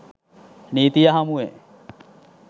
නීතිය හමුවේ